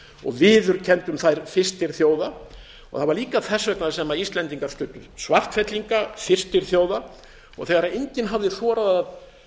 og viðurkenndum þær fyrstir þjóða og það var líka þess vegna sem íslendingar studdu svartfellinga fyrstir þjóða og þegar enginn hafði þorað að